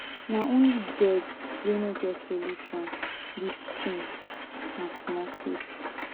na only dead wey no get solution this thing na small case.